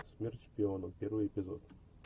смерть шпионам первый эпизод